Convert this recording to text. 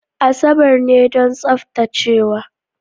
Asabar ne don tsaftacewa.